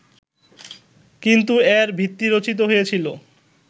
কিন্তু এর ভিত্তি রচিত হয়েছিলো